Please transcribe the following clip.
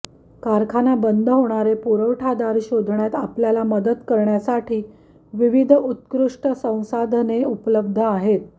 कारखाना बंद होणारे पुरवठादार शोधण्यात आपल्याला मदत करण्यासाठी विविध उत्कृष्ट संसाधने उपलब्ध आहेत